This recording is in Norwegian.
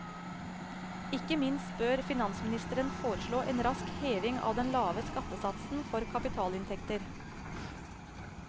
Ikke minst bør finansministeren foreslå en rask heving av den lave skattesatsen for kapitalinntekter.